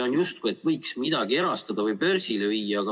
On justkui vihje, et võiks midagi erastada või börsile viia.